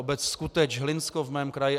Obec Skuteč, Hlinsko v mém kraji.